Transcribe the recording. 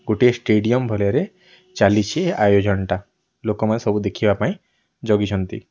ଗୋଟିଏ ଷ୍ଟେଡ଼ିଅମ ଭଲ ରେ ଚାଲିଛି ଆୟୋଜନ ଟା ଲୋକମାନେ ସବୁ ଦେଖିବା ପାଇଁ ଜଗିଛନ୍ତି।